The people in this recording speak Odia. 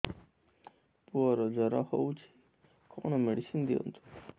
ପୁଅର ଜର ହଉଛି କଣ ମେଡିସିନ ଦିଅନ୍ତୁ